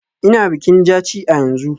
Ina bikin Jaci a yanzu.